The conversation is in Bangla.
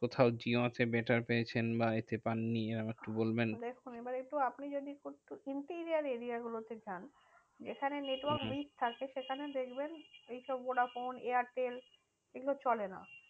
কোথাও জিওতে better পেয়েছেন বা এতে পাননি একটু বলবেন। দেখুন আপনি যদি একটু interior area গুলোতে যান, যেখানে network week থাকে, সেখানে দেখবেন এইসব ভোডাফোন এয়ারটেল এগুলো চলে না।